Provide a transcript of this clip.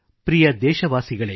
ಪ್ರಿಯ ದೇಶವಾಸಿಗಳೆ